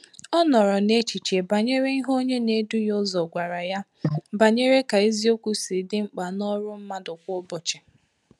Ọ nọrọ n’echiche banyere ihe onye na edu ya ụzọ gwara ya banyere ka eziokwu si dị mkpa n’ọrụ mmadụ kwa ụbọchị